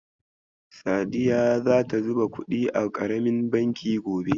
Sadiya zata zuba kuɗi a ƙaramin banki gobe.